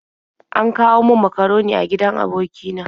An kawo min makaroni a gidan aboki na.